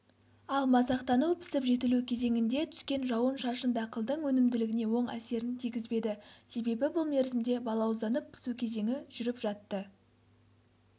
ал масақтану - пісіп-жетілу кезеңінде түскен жауын-шашын дақылдың өнімділігіне оң әсерін тигізбеді себебі бұл мерзімде балауызданып пісу кезеңі жүріп жатты